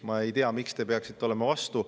Ma ei tea, miks te peaksite olema selle vastu.